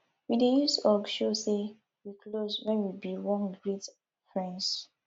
um we dey use hug show sey wey close wen we bin wan greet friends